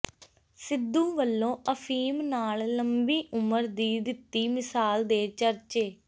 ਸਿੱਧੂ ਵੱਲੋਂ ਅਫੀਮ ਨਾਲ ਲੰਮੀ ਉਮਰ ਦੀ ਦਿੱਤੀ ਮਿਸਾਲ ਦੇ ਚਰਚੇ